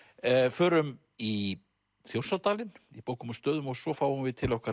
förum í Þjórsárdalinn í bókum og stöðum og svo fáum við til okkar